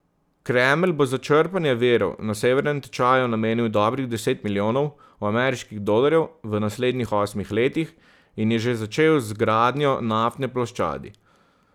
Kremelj bo za črpanje virov na severnem tečaju namenil dobrih deset milijonov ameriških dolarjev v naslednjih osmih letih, in je že začel z zgradnjo naftne ploščadi.